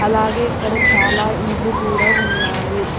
అలాగే ఇక్కడ చాలా ఇండ్లు కూడా ఉన్నాయి.